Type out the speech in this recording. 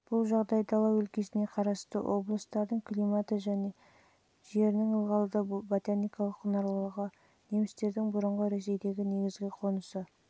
бұл жағдай дала өлкесіне қарасты облыстардың климаты мен жерінің ылғалды-ботаникалық құнарлылығы немістердің бұрынғы ресейдегі негізгі қонысы